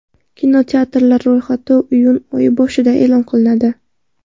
Kinokartinalar ro‘yxati iyun oyi boshida e’lon qilinadi.